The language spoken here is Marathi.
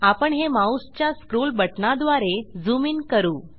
आपण हे माऊसच्या स्क्रोल बटणाद्वारे झूम इन करू